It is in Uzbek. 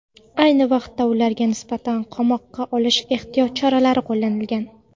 Ayni vaqtda ularga nisbatan qamoqqa olish ehtiyot chorasi qo‘llanilgan.